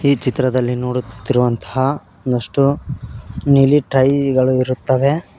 ಈ ಚಿತ್ರದಲ್ಲಿ ನೋಡುತ್ತಿರುವಂತಹ ಒಂದಷ್ಟು ನೀಲಿ ಟ್ರೈ ಗಳು ಇರುತ್ತವೆ.